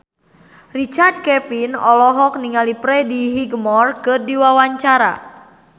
Richard Kevin olohok ningali Freddie Highmore keur diwawancara